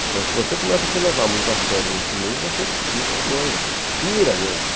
Então, se você começa a se levar muito a sério nesse meio, você fica doido, pira mesmo.